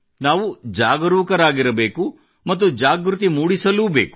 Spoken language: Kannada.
ನಾವು ಜಾಗರೂಕರಾಗಿರಬೇಕು ಮತ್ತು ಜಾಗೃತಿ ಮೂಡಿಸಲೂಬೇಕು